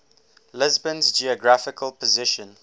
lisbon's geographical position